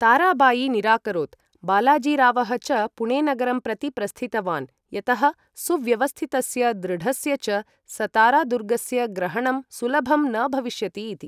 ताराबायी निराकरोत्, बालाजीरावः च पुणेनगरं प्रति प्रस्थितवान्, यतः सुव्यवस्थितस्य दृढस्य च सतारादुर्गस्य ग्रहणं सुलभं न भविष्यति इति।